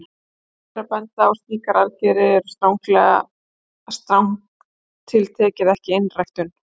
Rétt er að benda á að slíkar aðgerðir eru strangt til tekið ekki einræktun.